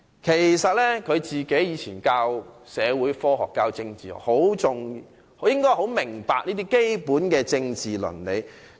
其實，他過去教授社會科學及政治，應該十分明白這些基本的政治倫理才對。